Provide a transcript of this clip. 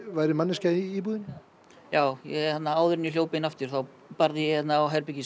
væri manneskja í íbúðinni já áður en ég hljóp inn aftur þá barði ég á